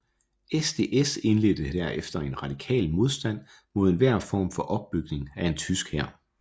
SDS indledte herefter en radikal modstand mod enhver form for opbygning af en tysk hær